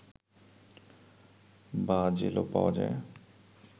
বা জেলো পাওয়া যায়